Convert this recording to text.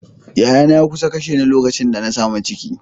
Yayana ya kusa kashe ni lokacin da na samu ciki.